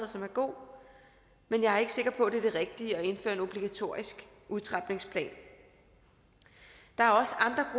som er god men jeg er ikke sikker på at det er det rigtige at indføre en obligatorisk udtrapningsplan der er også